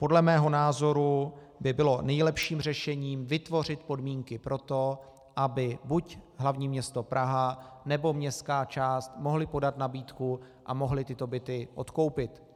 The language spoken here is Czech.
Podle mého názoru by bylo nejlepším řešením vytvořit podmínky pro to, aby buď hl. město Praha, nebo městská část mohly podat nabídku a mohly tyto byty odkoupit.